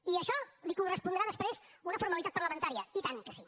i a això li correspondrà després una formalitat parlamentària i tant que sí